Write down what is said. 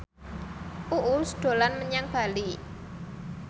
Uus dolan menyang Bali